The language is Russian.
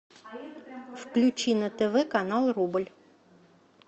включи на тв канал рубль